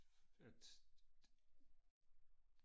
at